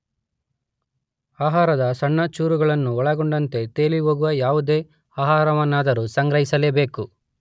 ಆಹಾರದ ಸಣ್ಣ ಚೂರುಗಳನ್ನು ಒಳಗೊಂಡಂತೆ ತೇಲಿಹೋಗುವ ಯಾವುದೇ ಆಹಾರವನ್ನಾದರೂ ಸಂಗ್ರಹಿಸಲೇಬೇಕು.